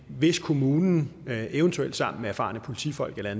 hvis kommunen eventuelt sammen med erfarne politifolk eller